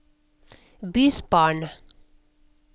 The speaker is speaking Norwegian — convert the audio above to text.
bysbarn